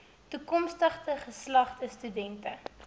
toekomstige geslagte studente